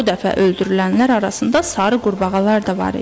Bu dəfə öldürülənlər arasında sarı qurbağalar da var idi.